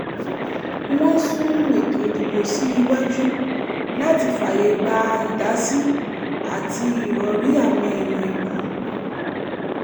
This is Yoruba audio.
wọ́n sún eto ìdìbò sí iwájú làti fààyè gba ìdásí àti ìròrí àwọn èèyàn ìlú